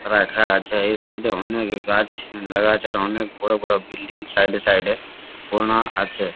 রাখা আছে এই সাইড এ অনেক গাছ লাগা আছে আর অনেক বড়ো বড়ো বিল্ডিং সাইড এ সাইড এ বনও আছে।